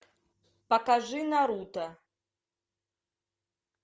покажи наруто